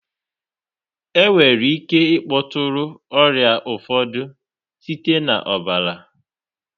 Enwere ike ịkpọtụrụ ọrịa ụfọdụ site na ọbara.